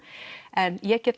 en ég get